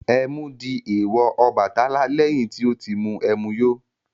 Ẹmu di èèwọ̀ Ọbàtálá lẹ́yìn tí ó mu ẹmu yó.